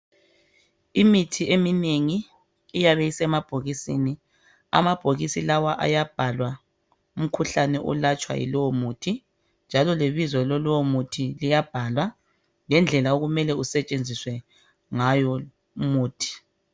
Imithi eminengi iyabe isemabhokisini. Amabhokisi lawa ayabhalwa umkhuhlane olatshwa yilowo muthi njalo lebizo lalowo muthi liyabhalwa ngendlela oumele kusetshenziswe ngayo umuthi.